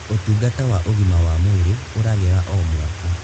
ũtungata wa ũgima wa mwĩrĩ ũragĩra o mwaka.